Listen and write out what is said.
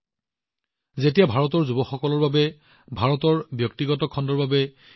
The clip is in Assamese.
ইয়াৰ পূৰ্বে ভাৰতত মহাকাশ খণ্ড চৰকাৰী প্ৰণালীৰ আওতাৰ ভিতৰত সীমাবদ্ধ আছিল